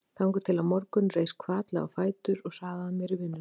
Þangað til á morgun reis hvatlega á fætur og hraðaði mér í vinnuna.